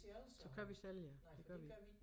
Så kører vi selv ja det gør vi